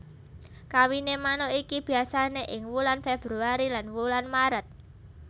Kawiné manuk iki biasané ing wulan februari lan wulan Méret